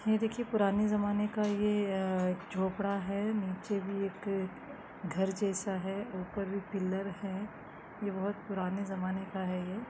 ये देखिये पुराने जमाने का ये-अ झोपड़ा है नीचे भी एक घर जैसा है ऊपर भी पिलर है ये बहोत पुराने ज़माने का है ये।